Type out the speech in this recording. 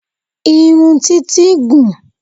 Irun títí gùn ún